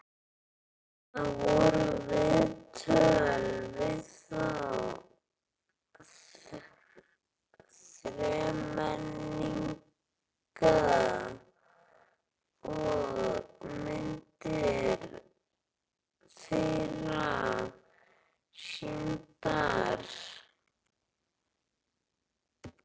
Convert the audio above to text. Þar voru viðtöl við þá þremenninga og myndir þeirra sýndar.